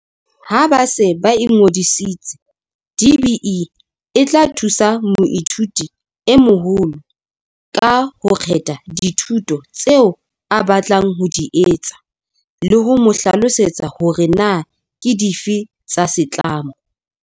Ha ba se ba ingodisitse, DBE e tla thusa moithuti e moholo kang ho kgetha dithuto tseo a batlang ho di etsa le ho mo hlalosetsa hore na ke dife tsa setlamo.